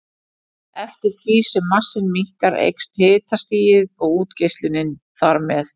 Eftir því sem massinn minnkar eykst hitastigið og útgeislunin þar með.